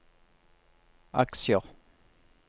aksjer